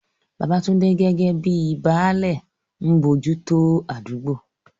Babatunde, gẹ́gẹ́ bíi "Baale," ń bójú tó àdúgbò.